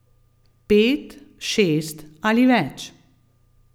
Pet, šest ali več.